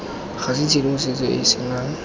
ga tshedimosetso e e senang